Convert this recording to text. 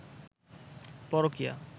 পরকীয়া